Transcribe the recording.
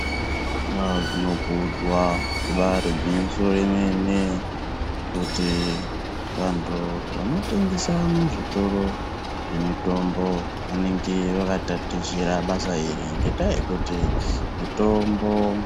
Ah zvinokudzwa ibari gwinyiso remene kuti vantu vanotengesa muzvitoro zvemitombo vanenge vakatatichira basa iri ngendaa yekuti mitombo...